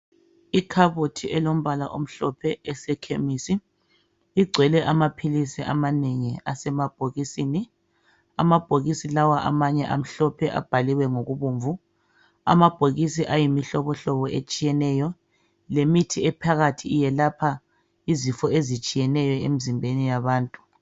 Ikhabothi elombala omhlophe esekhemisi igcwele amaphilisi amanengi asemabhokisini amabhokisi lawa amanye amhlophe abhaliwe ngokubomvu amabhokisi ayimihlobohlobo etshiyeneyo lemithi ephakathi iyelapha izifo ezitshiyeneyo emzimbeni yabantu